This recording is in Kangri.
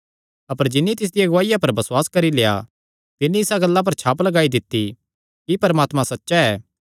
अपर जिन्नी तिसदिया गवाहिया पर बसुआस करी लेआ तिन्नी इसा गल्ला पर छाप लगाई दित्ती कि परमात्मा सच्चा ऐ